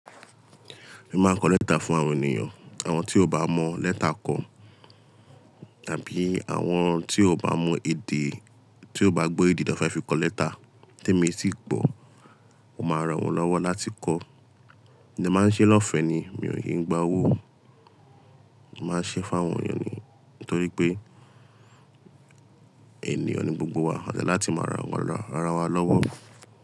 Mo máa ń kọ lẹ́tà fún àwọn ènìyàn, àwọn tí ó bá mọ lẹ́tà kọ, tàbí àwọn tí ó bá mọ èdè, tí ó bá gbọ́ èdè tan fẹ́ fi kọ lẹ́tà tí èmi sì gbọ́, mo máa rán wọn lọ́wọ́ láti kọ́. Mo dẹ máa ń ṣe lọ́ọ̀fẹ́ ni, mi ò kí ń gba owó, n màá n ṣe fún àwọn ènìyàn nítorí pé ènìyàn ni gbogbo wa, à dẹ ni láti máa ran ara wa lọ́wọ́.